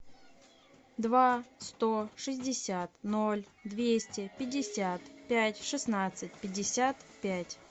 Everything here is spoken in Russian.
два сто шестьдесят ноль двести пятьдесят пять шестнадцать пятьдесят пять